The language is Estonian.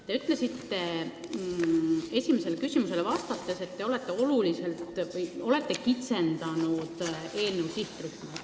Te ütlesite esimesele küsimusele vastates, et olete kitsendanud eelnõu sihtrühma.